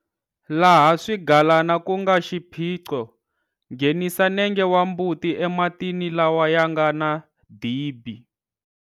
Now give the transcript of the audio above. Laha swigalana ku nga xiphiqo, nghenisa nenge wa mbuti ematini lawa ya nga na dibi.